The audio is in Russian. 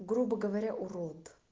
грубо говоря урод